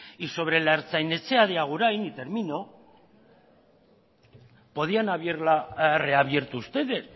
y sobre la ertzain etxea de agurain y termino podían haberla reabierto ustedes